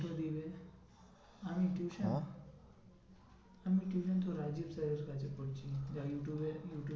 দেবে আমি tuition হ্যাঁ আমি tuition তো রাজীব sir এর কাছে পড়ছি। যার ইউটিউব এ ইউটিউবএ ~